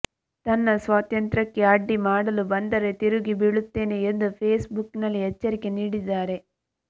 ನನ್ನ ಸ್ವಾತಂತ್ರ್ಯಕ್ಕೆ ಅಡ್ಡಿ ಮಾಡಲು ಬಂದರೆ ತಿರುಗಿ ಬೀಳುತ್ತೇನೆ ಎಂದು ಫೇಸ್ ಬುಕ್ ನಲ್ಲಿ ಎಚ್ಚರಿಕೆ ನೀಡಿದ್ದಾರೆ